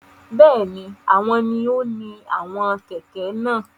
Bẹẹni, awọn ni o ni àwọn kẹkẹ náà